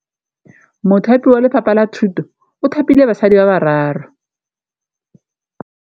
Mothapi wa Lefapha la Thutô o thapile basadi ba ba raro.